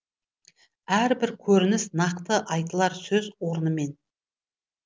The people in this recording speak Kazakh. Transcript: әрбір көрініс нақты айтылар сөз орнымен